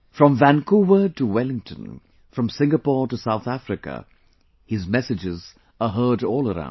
From Vancouver to Wellington, from Singapore to South Africa his messages are heard all around